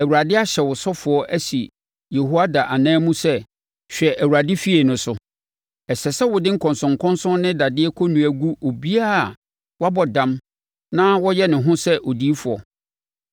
‘ Awurade ahyɛ wo ɔsɔfoɔ asi Yehoiada anan mu sɛ hwɛ Awurade efie no so; Ɛsɛ sɛ wode nkɔnsɔnkɔnsɔn ne dadeɛ kɔnnua gu obiara a wabɔ dam na ɔyɛ ne ho sɛ odiyifoɔ.